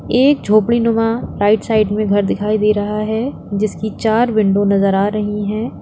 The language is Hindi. एक झोपड़ी नुमा राइट साइड में घर दिखाई दे रहा है जिसकी चार विंडो नजर आ रही हैं।